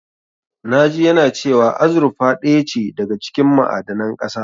Na ji yana cewa azurfa ɗaya ce daga cikin ma'adanan ƙasa.